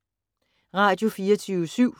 Radio24syv